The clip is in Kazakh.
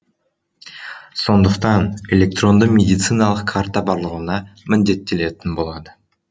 сондықтан электронды медициналық карта барлығына міндеттелетін болады